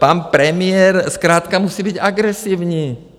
Pan premiér zkrátka musí být agresivní.